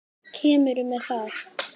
Kemurðu með það!